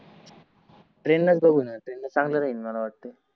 train नस जाऊ या ना ट्रेन न चांगल राहील मला वाटे